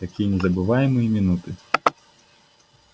какие незабываемые минуты